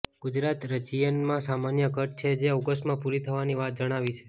ગુજરાત રિજયનમાં સામાન્ય ઘટ છે જે ઓગસ્ટમાં પુરી થવાની વાત જણાવી છે